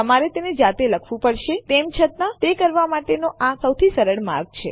તમારે તેને જાતે લખવું પડશે તેમ છતાં તે કરવા માટેનો આ કદાચ સૌથી સરળ માર્ગ છે